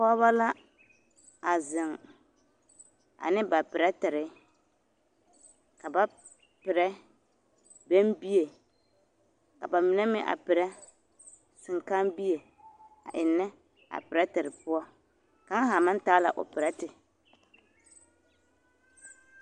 Pɔgebɔ la a zeŋ ane ba perɛtere ka ba perɛ bɛmbie ka bamine meŋ a perɛ seŋkãã bie a ennɛ a perɛtere poɔ kaŋ haa maŋ taa la o perɛte.